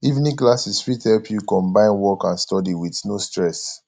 evening classes fit help you combine work and study with no stress